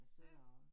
Ja